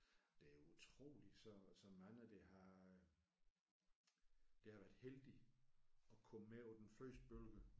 Det er utroligt så så mange der har der har været heldige at komme med på den første bølge